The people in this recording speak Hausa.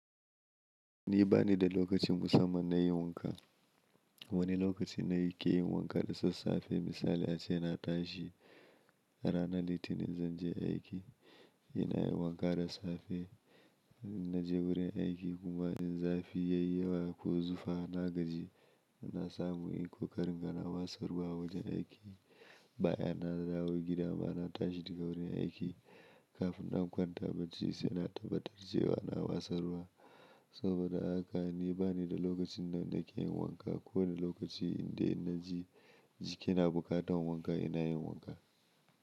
Ni bani da lokacin musamman na yin wanka. Wani lokaci ne yike yin wanka da sassafe. Misali ace na tashi ranan litinin zan je aiki, ina yin wanka da safe. Na je wurin aiki kuma in za fi yayi yawa ko zufa na gaji, ina samu in ko karin ga na watsa ruwa a wajen aiki. Bayan na dawo gida ma na tashi daga wurin aiki kafin in kwanta bacci sai na tabbatar cewa na wasarwa. Saboda haka ni bani da lokacin da nake yin wanka. Ko wani lokaci inde naji jiki na buƙatan wanka ina yin wanka.